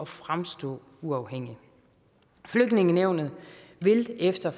fremstå uafhængigt flygtningenævnet vil efter